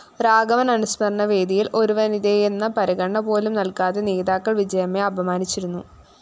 രാഘവന്‍ അനുസ്മരണവേദിയില്‍ ഒരുവനിതയെന്ന പരിഗണനപോലും നല്‍കാതെ നേതാക്കള്‍ വിജയമ്മയെ അപമാനിച്ചിരുന്നു